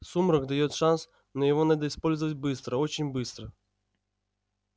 сумрак даёт шанс но его надо использовать быстро очень быстро